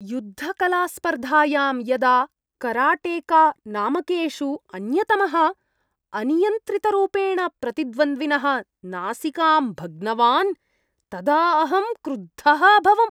युद्धकलास्पर्धायां यदा कराटेका नामकेषु अन्यतमः अनियन्त्रितरूपेण प्रतिद्वन्द्विनः नासिकां भग्नवान्, तदा अहं क्रुद्धः अभवम्।